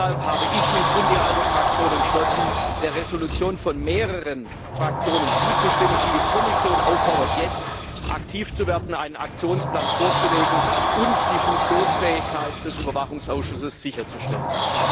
Deshalb habe ich mich und hat sich die ALDE Fraktionen entschlossen, der Entschließung von mehreren Fraktionen zuzustimmen, die die Kommission auffordert, jetzt aktiv zu werden, einen Aktionsplan vorzulegen und die Funktionsfähigkeit des Überwachungsausschusses sicherzustellen.